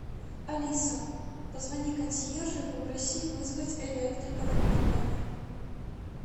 алиса позвони консьержу и попроси вызвать электрика в мой номер